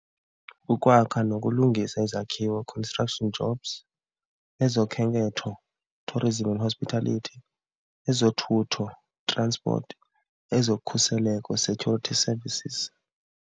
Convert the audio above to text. Ukwakha nokulungisa Izakhiwe, construction jobs, ezokhenketho, tourism and hospitality, ezothutho, transport, ezokhuseleko, security services.